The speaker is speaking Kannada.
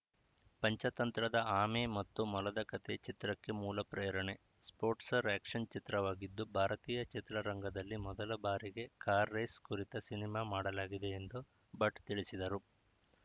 ಪಂಚತಂತ್ರದ ಆಮೆ ಮತ್ತು ಮೊಲದ ಕಥೆ ಚಿತ್ರಕ್ಕೆ ಮೂಲ ಪ್ರೇರಣೆ ಸ್ಪೋಟ್ಸ್‌ರ್ ಆ್ಯಕ್ಷನ್‌ ಚಿತ್ರವಾಗಿದ್ದು ಭಾರತೀಯ ಚಿತ್ರರಂಗದಲ್ಲಿ ಮೊದಲ ಬಾರಿಗೆ ಕಾರ್‌ ರೇಸ್‌ ಕುರಿತ ಸಿನಿಮಾ ಮಾಡಲಾಗಿದೆ ಎಂದು ಭಟ್‌ ತಿಳಿಸಿದರು